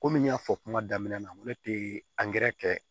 Komi n y'a fɔ kuma daminɛ na n ko ne tɛ kɛ